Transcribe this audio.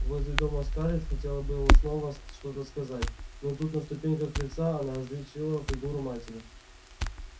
возле дома скарлетт хотела было снова что-то сказать но тут на ступеньках крыльца она различила фигуру матери